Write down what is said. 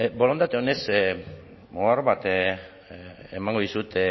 borondate onez ohar bat emango dizut